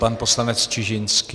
Pan poslanec Čižinský.